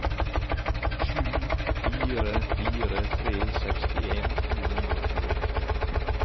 sju fire fire tre sekstien to hundre og tjueåtte